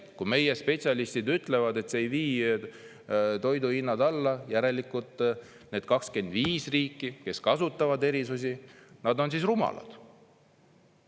Kui meie spetsialistid ütlevad, et see ei vii toiduhindu alla, järelikult need 25 riiki, kes kasutavad erisusi, on siis rumalad.